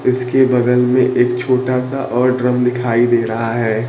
इसके बगल में एक छोटा सा और ड्रम दिखाई दे रहा है।